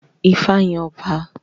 Ifá yàn ọba